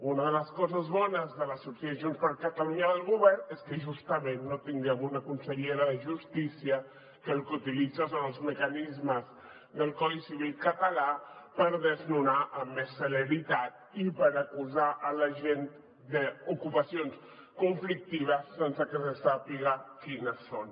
una de les coses bones de la sortida de junts per catalunya del govern és que justament no tinguem una consellera de justícia que el que utilitza són els mecanismes del codi civil català per desnonar amb més celeritat i per acusar la gent d’ocupacions conflictives sense que se sàpiga quines són